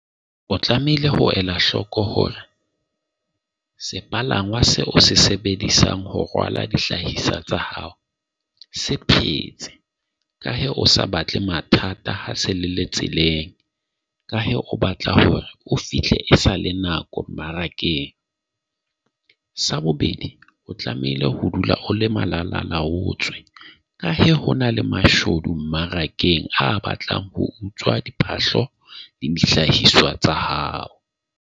O tlamehile ho ela hloko hore sepalangwa seo o se sebedisang ho rwala dihlahiswa tsa hao se phetse. Ka hee o sa batle mathata ha se le le tseleng. Ka he, o batla hore o fihle esale nako mmarakeng. Sa bobedi, o tlamehile ho dula o le malalalaotswe ka he ho na le mashodu mmarakeng a batlang ho utswa diphahlo le di dihlahiswa tsa hao.